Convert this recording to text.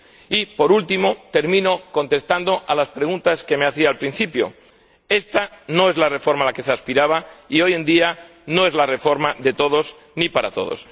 Y, por último, termino contestando a las preguntas que me hacía al principio esta no es la reforma a la que se aspiraba, y hoy en día no es la reforma de todos, ni para todos.